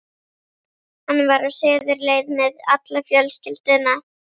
Hann var á suðurleið með alla fjölskylduna.